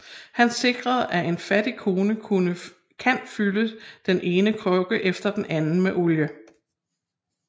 Han sikrer at en fattig kone kan fylde den ene krukke efter den anden med olie